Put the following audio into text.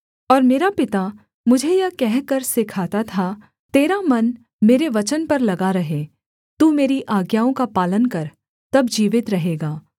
और मेरा पिता मुझे यह कहकर सिखाता था तेरा मन मेरे वचन पर लगा रहे तू मेरी आज्ञाओं का पालन कर तब जीवित रहेगा